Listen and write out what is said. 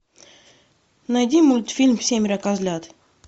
найди мультфильм семеро козлят